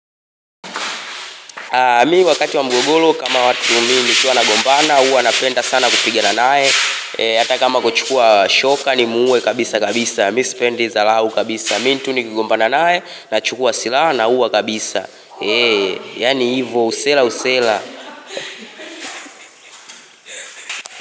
Mimi wakati wa mgogoro kama watu mimi nikiwa na gombana huwa na penda sana kupiga na naye. Hata kama kuchukua shoka ni muue kabisa kabisa. Mimi sipendi dharau kabisa. Mimi tu ni ki gombana naye na chukua silaha na uwa kabisa. Yani hivo usela usela.